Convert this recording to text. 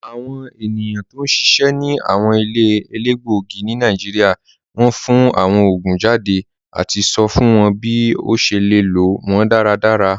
Awọn ènìyàn tó n ṣiṣẹ̀ ni awọn ilẹ̀ èlégbogì ni Nàìjíríà fún awọn oogun jàdé àti sọ̀ fún wọn bí o ṣè lè lọ wọn dàràdàrà.